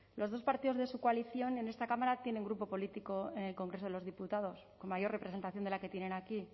los dos partidos de su coalición en esta cámara tienen grupo político en el congreso de los diputados con mayor representación de la que tienen aquí